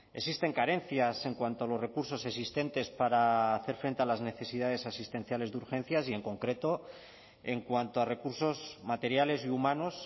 existen carencias en cuanto a los recursos existentes para hacer frente a las necesidades asistenciales de urgencias y en concreto en cuanto a recursos materiales y humanos